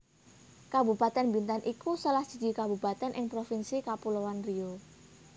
Kabupatèn Bintan iku salah siji kabupatèn ing Provinsi Kapuloan Riau